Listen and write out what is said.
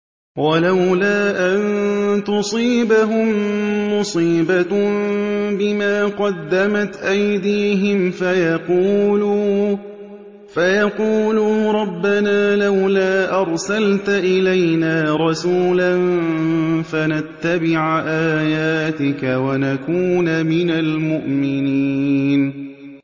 وَلَوْلَا أَن تُصِيبَهُم مُّصِيبَةٌ بِمَا قَدَّمَتْ أَيْدِيهِمْ فَيَقُولُوا رَبَّنَا لَوْلَا أَرْسَلْتَ إِلَيْنَا رَسُولًا فَنَتَّبِعَ آيَاتِكَ وَنَكُونَ مِنَ الْمُؤْمِنِينَ